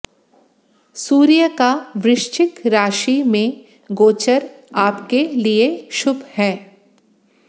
सूर्य का वृश्चिक राशि में गोचर आपके लिए शुभ है